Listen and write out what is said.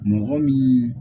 Mɔgɔ min